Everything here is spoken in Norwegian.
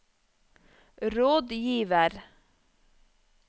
rådgiver